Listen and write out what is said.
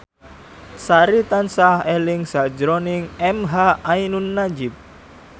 Sari tansah eling sakjroning emha ainun nadjib